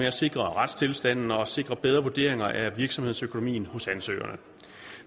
at sikre retstilstanden og sikre bedre vurderinger af virksomhedsøkonomien hos ansøgerne